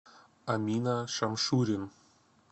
амина шамшурин